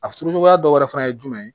A furuɲɔgɔnya dɔ wɛrɛ fana ye jumɛn ye